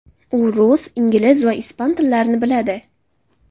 U rus, ingliz va ispan tillarini biladi.